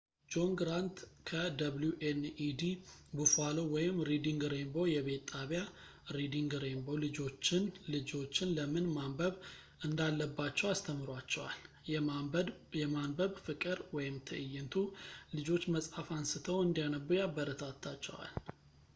ጆን ግራንት፣ ከwned ቡፋሎ ሪዲንግ ሬንቦ የቤት ጣቢያ፣ ሪዲንግ ሬንቦ ልጆችን ለምን ማንበብ እናዳለባቸው አስተምሯቸዋል፣... የማንበብ ፍቅር — [ትዕይንቱ] ልጆች መጽሀፍ አንስተው እንዲያነቡ ያበረታታቸዋል።